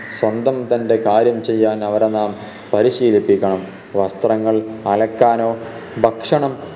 സ്വന്തം തൻറെ കാര്യം ചെയ്യാൻ അവരെ നാം പരിശീലിപ്പിക്കണം വസ്ത്രങ്ങൾ അലക്കാനോ ഭക്ഷണം